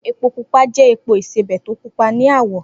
Epo pupa jẹ́ epo ìsebẹ̀ to pupa ni àwọ̀.